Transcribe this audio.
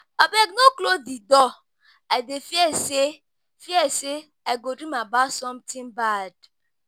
Abeg no close the door, I dey fear say fear say I go dream about something bad